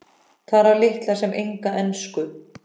Talar litla sem enga ensku.